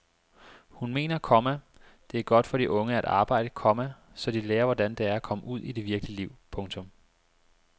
Hun mener, komma det er godt for de unge at arbejde, komma så de lærer hvordan det er at komme ud i det virkelige liv. punktum